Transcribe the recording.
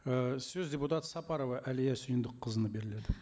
і сөз депутат сапарова әлия сүйіндікқызына беріледі